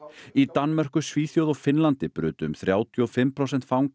í Danmörku Svíþjóð og Finnlandi brutu um þrjátíu og fimm prósent fanga